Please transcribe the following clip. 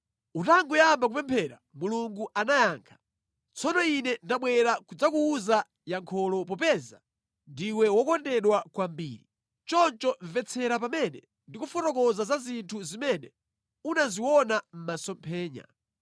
Utangoyamba kupemphera, Mulungu anayankha. Tsono ine ndabwera kudzakuwuza yankholo, popeza ndiwe wokondedwa kwambiri. Choncho mvetsetsa pamene ndikufotokoza za zinthu zimene unaziona mʼmasomphenya.